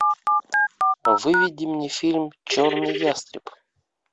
выведи мне фильм черный ястреб